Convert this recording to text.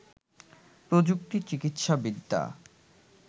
প্রযুক্তি, চিকিৎসাবিদ্যা